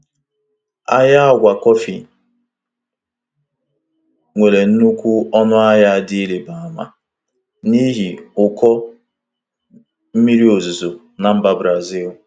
Ahịa agwa kọfị nwere nnukwu ọnụahịa dị ịrịba ama n'ihi ụkọ mmiri ozuzo na mba Brazil